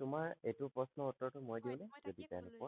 তোমাৰ এইটো প্ৰশ্নৰ টোৰ উত্তৰ মই দিওঁ নে হয় মই তাকেই কবলৈ লৈছো যদি দিগদাৰ নোপোৱা